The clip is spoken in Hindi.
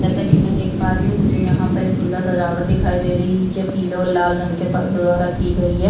जैसा की में देख पा रही हूँ मुझे यहाँ पर एक सूंदर सजावट दिखाई दे रही है जो पीले और लाल रंग के परदो द्वारा की गयी है।